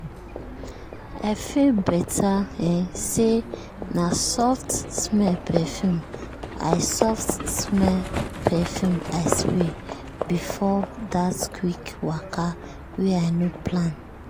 i feel better um say na soft-smell perfume i soft-smell perfume i spray before that quick wake way i no plan.